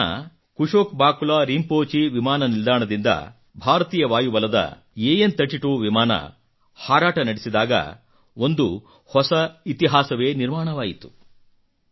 ಲೇಹ್ ನ ಕುಶೊಕ್ ಬಾಕುಲಾ ರಿಂಪೋಚಿ ವಿಮಾನ ನಿಲ್ದಾಣದಿಂದ ಭಾರತೀಯ ವಾಯುಬಲದ AN32 ವಿಮಾನ ಹಾರಾಟ ನಡೆಸಿದಾಗ ಒಂದು ಹೊಸ ಇತಿಹಾಸವೇ ನಿರ್ಮಾಣವಾಯಿತು